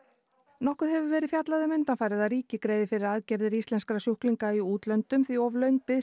nokkuð hefur verið fjallað um undanfarið að ríkið greiði fyrir aðgerðir íslenskra sjúklinga í útlöndum því of löng bið